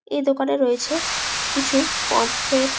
এই দোকানে রয়েছে কিছু পম্ফ্রেট --